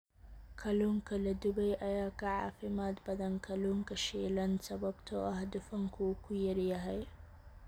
Kalluunka la dubay ayaa ka caafimaad badan kalluunka shiilan sababtoo ah dufanku wuu ku yar yahay.